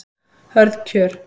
Hörð kjör